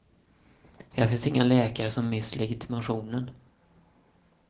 Här finns inga läkare som mist legitimationen.